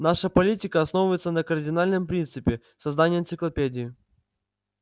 наша политика основывается на кардинальном принципе создании энциклопедии